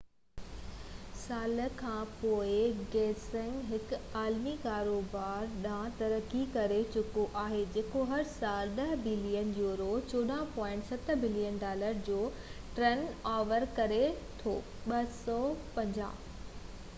250 سال کان پوءِ، گينيس هڪ عالمي ڪاروبار ڏانهن ترقي ڪري چڪو آهي جيڪو هر سال 10 بلين يورو 14.7 بلين ڊالر جو ٽرن اوور ڪري ٿو